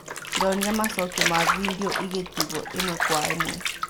"Ndonire macokio na vindioigĩtigwo ĩmwe kwa imwe.